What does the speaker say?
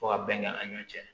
Fo ka bɛn kɛ an ɲɔn cɛ